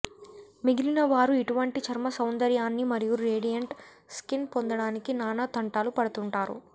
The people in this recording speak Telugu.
మిగిలిన వారు ఇటువంటి చర్మ సౌందర్యాన్ని మరియు రేడియంట్ స్కిన్ పొందడానికి నానా తంటాలు పడుతుంటారు